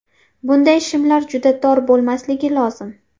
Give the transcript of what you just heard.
Bunday shimlar juda tor bo‘lmasligi lozim.